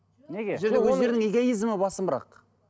неге бұл жерде өздерінің эгоизмі басымырақ